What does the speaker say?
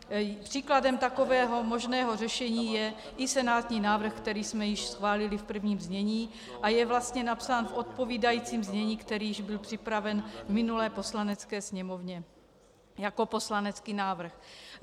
Příkladem takového možného řešení je i senátní návrh, který jsme již schválili v prvním čtení a je vlastně napsán v odpovídajícím znění, které již bylo připraveno v minulé Poslanecké sněmovně jako poslanecký návrh.